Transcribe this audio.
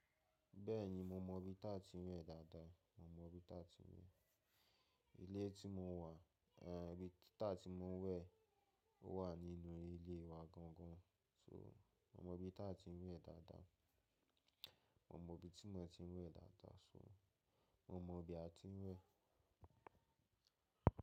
Bẹ́ẹ̀ni, mo mọ ibi táa ti ń wẹ̀ dáadáa. Mo mọ ibi táa ti ń wẹ̀. Ilé tí mo wà, ehn, ibi táa ti mo ń wẹ̀ wà nínú ilé wa gangan. So, mo mọ ibi táa ti ń wẹ̀ dáadáa. Mo mọ ibi tí mò ń wẹ̀ dáadáa. So, mo mọ ibi a ti ń wẹ̀